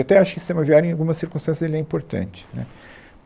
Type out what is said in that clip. Eu até acho que o sistema aviário, em algumas circunstâncias, ele é importante, né.